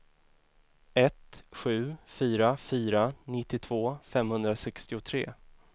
ett sju fyra fyra nittiotvå femhundrasextiotre